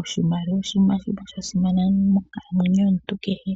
Oshimaliwa oshinima shimwe sha simana monkalamwenyo yomuntu kehe.